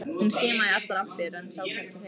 Hún skimaði í allar áttir en sá hvergi hreyfingu.